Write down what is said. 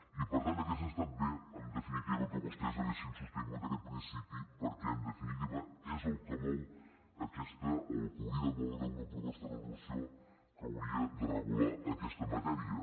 i per tant hauria estat bé en definitiva que vostès haguessin sostingut aquest principi perquè és el que mou o el que hauria de moure una proposta de resolució que hauria de regular aquesta matèria